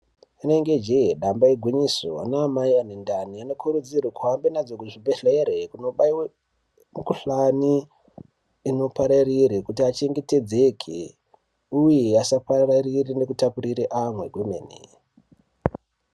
Inenge jee damba igwinyiso ana amai ane ndani munokurudzirwa kuzoende kuzvibhedhlera kunobaiwa mikuhlani inopararira kuti achengetedzeke uye asapararira nekutapurira amwe kwemene.